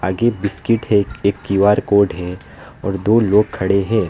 आगे बिस्कुट है एक क्यू_आर कोड है और दो लोग खड़े हैं।